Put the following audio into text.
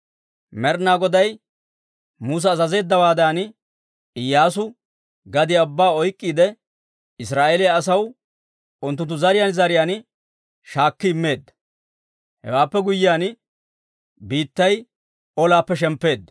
Med'ina Goday Musa azazeeddawaadan, Iyyaasu gadiyaa ubbaa oyk'k'iide Israa'eeliyaa asaw unttunttu zariyaan zariyaan shaakki immeedda. Hewaappe guyyiyaan biittay olaappe shemppeedda.